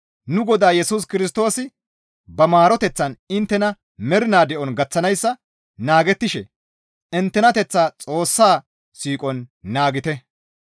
Nu Godaa Yesus Kirstoosi ba maaroteththan inttena mernaa de7on gaththanayssa naagettishe inttenateththaa Xoossaa siiqon naagite.